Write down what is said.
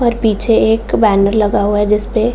और पीछे एक बैनर लगा हुआ है जिस पे --